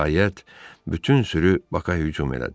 Nəhayət, bütün sürü Bakın hücum elədi.